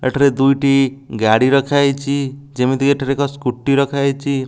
ଏଠାରେ ଦୁଇଟି ଗାଡ଼ି ରଖା ହେଇଚି ଯେମିତି କି ଏଠାରେ ଏକ ସ୍କୁଟି ରଖା ହେଇଚି ।